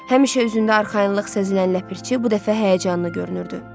Həmişə üzündə arxayınlıq sezilən Ləpirçi bu dəfə həyəcanlı görünürdü.